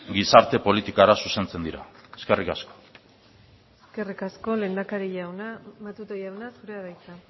gizarte politikara zuzentzen dira eskerrik asko eskerrik asko lehendakari jauna matute jauna zurea da hitza